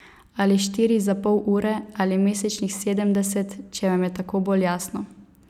Ali štiri za pol ure, ali mesečnih sedemdeset, če vam je tako bolj jasno.